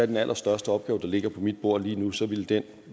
den allerstørste opgave der ligger på mit bord lige nu er så ville den